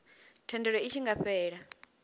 thendelo i tshi nga fhela